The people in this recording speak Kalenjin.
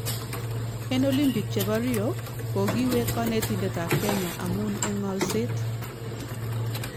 En olimpik chebo Rio; kokiwek kanetindet ab Kenya amun en ng'alset